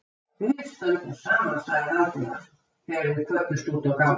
Við stöndum saman sagði Valdimar, þegar þeir kvöddust úti á gangstétt.